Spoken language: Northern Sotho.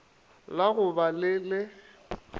la go ba le le